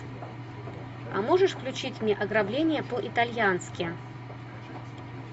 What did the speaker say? а можешь включить мне ограбление по итальянски